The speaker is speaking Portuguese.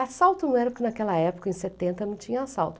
Assalto não era porque naquela época, em setenta, não tinha assalto.